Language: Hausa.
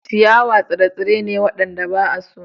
Ciyawa tsire-tsire ne waɗanda ba a so.